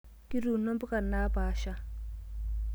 Kituuno mpuka naapasha.